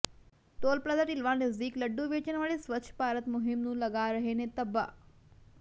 toll plaza Dhilwan ਨਜ਼ਦੀਕ ਲੱਡੂ ਵੇਚਣ ਵਾਲੇ ਸਵੱਛ ਭਾਰਤ ਮੁਹਿੰਮ ਨੂੰ ਲਗਾ ਰਹੇ ਨੇ ਧੱਬਾ